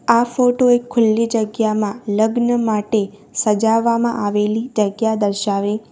આ ફોટો એક ખુલ્લી જગ્યામાં લગ્ન માટે સજાવામાં આવેલી જગ્યા દર્શાવે --